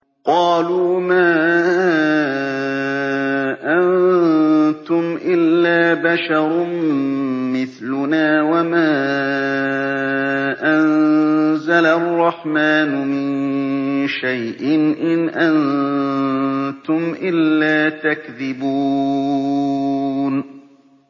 قَالُوا مَا أَنتُمْ إِلَّا بَشَرٌ مِّثْلُنَا وَمَا أَنزَلَ الرَّحْمَٰنُ مِن شَيْءٍ إِنْ أَنتُمْ إِلَّا تَكْذِبُونَ